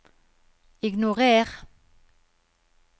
ignorer